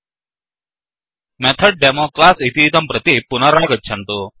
MethodDemoमेथड् demo class इतीदं प्रति पुनरागच्छन्तु